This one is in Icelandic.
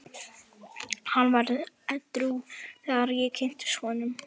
Hann var edrú þegar ég kynntist honum.